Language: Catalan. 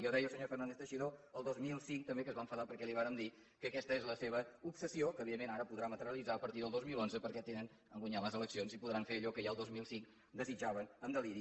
ja ho deia el senyor fernández teixidó el dos mil cinc també que es va enfadar perquè li vàrem dir que aquesta és la seva obsessió que evidentment ara podrà materialitzar a partir del dos mil onze perquè han guanyat les eleccions i podran fer allò que ja el dos mil cinc desitjaven amb deliri